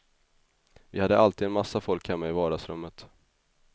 Vi hade alltid en massa folk hemma i vardagsrummet.